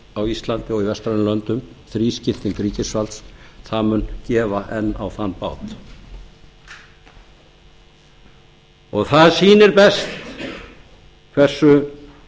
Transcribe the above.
á íslandi og í vestrænum löndum þrískipting ríkisvalds það mun gefa enn á þann bát það sýnir best hversu